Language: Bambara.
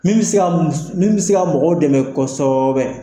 Min be se ka mus min be se ka mɔgɔw dɛmɛ kɔsɛbɛ